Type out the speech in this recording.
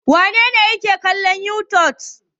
Wane ne yake kallon youtube?